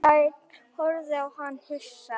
Ársæll horfði á hann hissa.